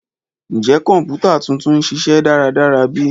Njẹ kọǹpútà tuntun n ṣiṣẹ daradara bi?